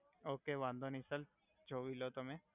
okay વાંધો નઈ sir જોવી લો તમે